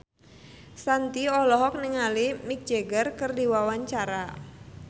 Shanti olohok ningali Mick Jagger keur diwawancara